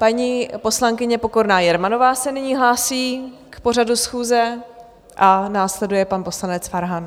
Paní poslankyně Pokorná Jermanová se nyní hlásí k pořadu schůze a následuje pan poslanec Farhan.